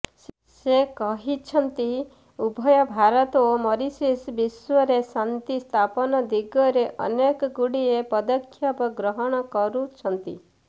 ସେ କହିଛନ୍ତି ଉଭୟ ଭାରତ ଓ ମରିସସ ବିଶ୍ୱରେ ଶାନ୍ତି ସ୍ଥାପନ ଦିଗରେ ଅନେକଗୁଡ଼ିଏ ପଦକ୍ଷେପ ଗ୍ରହଣ କରୁଛନ୍ତି